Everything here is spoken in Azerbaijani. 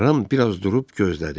Ram biraz durub gözlədi.